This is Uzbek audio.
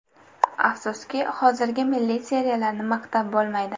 Afsuski, hozirgi milliy seriallarni maqtab bo‘lmaydi.